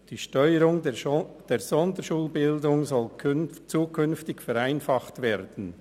Die Steuerung der Sonderschulbildung soll zukünftig vereinfacht werden.